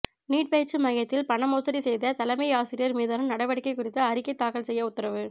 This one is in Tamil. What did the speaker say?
நீட் பயிற்சி மையத்தில் பணமோசடி செய்த தலைமை ஆசிரியா் மீதான நடவடிக்கை குறித்து அறிக்கை தாக்கல் செய்ய உத்தரவு